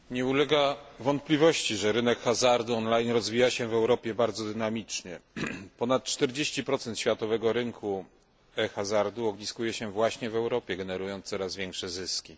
Nie ulega wątpliwości, że rynek hazardu on line rozwija się w Europie bardzo dynamicznie. Ponad 40 światowego rynku hazardu ogniskuje się właśnie w Europie, generując coraz większe zyski.